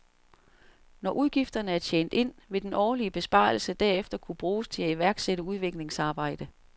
Når udgifterne er tjent ind, vil den årlige besparelse derefter kunne bruges til at iværksætte udviklingsarbejde.